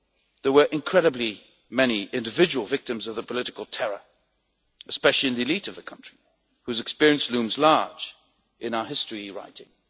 There were incredible numbers of individual victims of the political terror, especially in the elite of the country, whose experience looms large in our history writing.